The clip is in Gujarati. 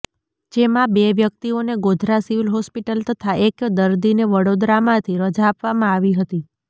જેમાં બે વ્યક્તિઓને ગોધરા સિવિલ હોસ્પિટલ તથા એક દર્દીને વડોદરામાંથી રજા આપવામાં આવી હતી